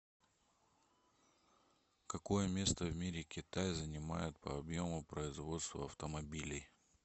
какое место в мире китай занимает по объему производства автомобилей